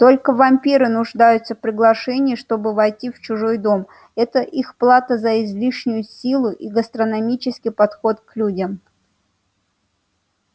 только вампиры нуждаются в приглашении чтобы войти в чужой дом это их плата за излишнюю силу и гастрономический подход к людям